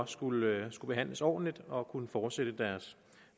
skulle behandles ordentligt og kunne fortsætte deres